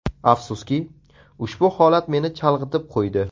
Afsuski, ushbu holat meni chalg‘itib qo‘ydi.